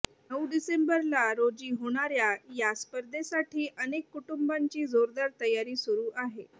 नऊ डिसेंबरला रोजी होणाऱ्या सा स्पर्धेसाठी अनेक कुटुंबांची जोरदार तयारी सुरु आहे